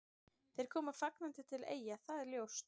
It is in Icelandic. Þeir koma fagnandi til Eyja, það er ljóst.